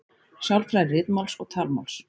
Sálfræði ritmáls og talmáls.